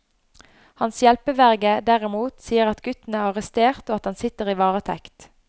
Hans hjelpeverge derimot sier at gutten er arrestert og at han sitter i varetekt.